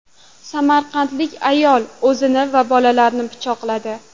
Samarqandlik ayol o‘zini va bolalarini pichoqladi.